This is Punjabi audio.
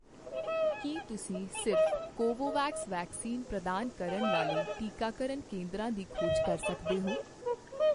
ਕੀ ਤੁਸੀਂ ਸਿਰਫ਼ ਕੋਵੋਵੈਕਸ ਵੈਕਸੀਨ ਪ੍ਰਦਾਨ ਕਰਨ ਵਾਲੇ ਟੀਕਾਕਰਨ ਕੇਂਦਰਾਂ ਦੀ ਖੋਜ ਕਰ ਸਕਦੇ ਹੋ?